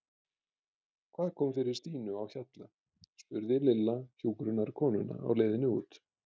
Hvað kom fyrir Stínu á Hjalla? spurði Lilla hjúkrunarkonuna á leiðinni út.